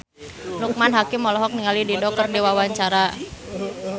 Loekman Hakim olohok ningali Dido keur diwawancara